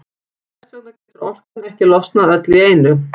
Þess vegna getur orkan ekki losnað öll í einu.